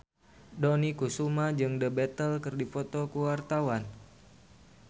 Dony Kesuma jeung The Beatles keur dipoto ku wartawan